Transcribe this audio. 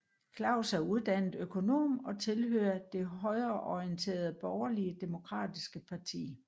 Klaus er uddannet økonom og tilhører det højreorienterede Borgerlige Demokratiske Parti